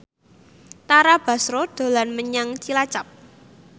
Tara Basro dolan menyang Cilacap